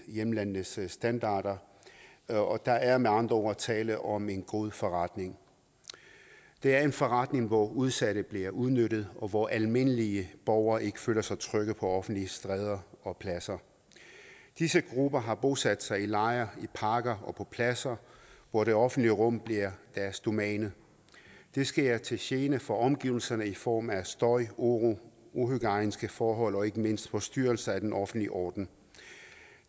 hjemlandenes standarder og der er med andre ord tale om en god forretning det er en forretning hvor udsatte bliver udnyttet og hvor almindelige borgere ikke føler sig trygge på offentlige stræder og pladser disse grupper har bosat sig i lejre i parker og på pladser hvor det offentlige rum bliver deres domæne det sker til gene for omgivelserne i form af støj uro uhygiejniske forhold og ikke mindst forstyrrelse af den offentlige orden